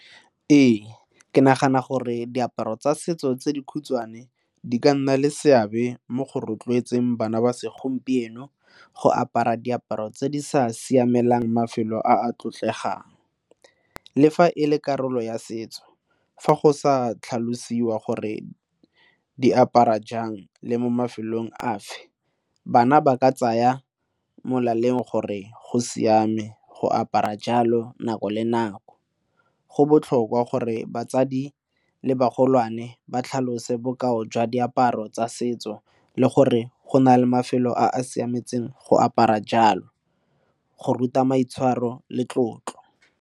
Ee, ke nagana gore diaparo tsa setso tse dikhutshwane di ka nna le seabe mo go rotloetseng bana ba segompieno go apara diaparo tse di sa siamelang mafelo a a tlotlegang. Le fa e le karolo ya setso fa go sa tlhalosiwa gore di apara jang le mo mafelong a fe, bana ba ka tsaya mo lebaleng gore go siame go apara jalo nako le nako. Go botlhokwa gore batsadi le ba golwane ba tlhalose bokao jwa diaparo tsa setso le gore go na le mafelo a a siametseng go apara jalo, go ruta maitshwaro le tlotlo.